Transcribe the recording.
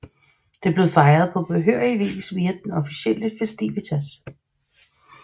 Det blev fejret på behørig vis efter den officielle festivitas